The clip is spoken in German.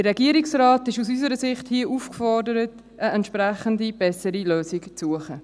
Der Regierungsrat ist aus unserer Sicht hier aufgefordert, eine entsprechend bessere Lösung zu suchen.